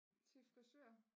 Til frisør